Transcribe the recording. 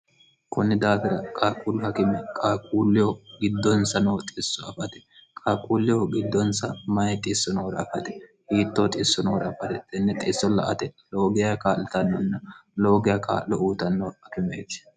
kunni daafira qaaquullu hakime qaaquulleho giddonsa noo xisso afate qaaquulleho giddonsa mayi xisso noora afate hiittoo xisso noora afate tenne xiisso la ate loogey kaa'litannonna loogiya kaa'lo uutanno akimeeti